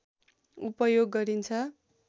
उपयोग गरिन्छ